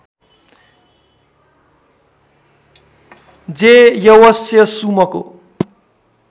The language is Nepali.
जे यवस्य सुमको